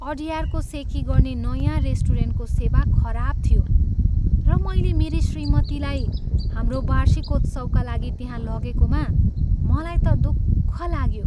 अडयारको सेखी गर्ने नयाँ रेस्टुरेन्टको सेवा खराब थियो र मैले मेरी श्रीमतीलाई हाम्रो वार्षिकोत्सवका लागि त्यहाँ लगेकोमा मलाई त दुःख लाग्यो।